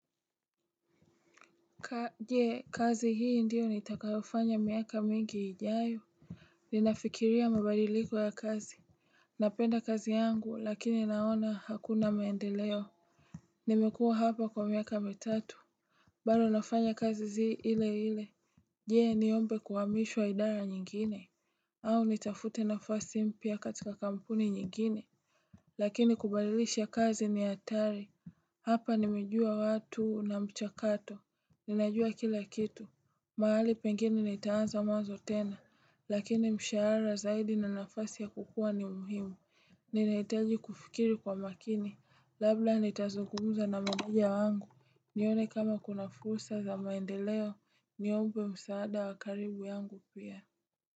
Je kazi hii ndiyo nitakayofanya miaka mingi ijayo? Ninafikiria mabadiliko ya kazi Napenda kazi yangu lakini naona hakuna maendeleo Nimekuwa hapa kwa miaka mitatu Baado nafanya kazi zi ile ile Jee niombe kuhamishwa idara nyingine au nitafute nafasi mpya katika kampuni nyingine Lakini kubadilisha kazi ni hatari Hapa nimejua watu na mchakato Ninajua kila kitu mahali pengine nitaanza mwanzo tena, lakini mshahara zaidi na nafasi ya kukua ni muhimu Ninahitaji kufikiri kwa makini, labda nitazugumza na meneja wangu, nione kama kuna fursa za maendeleo, niombe msaada wa karibu yangu pia.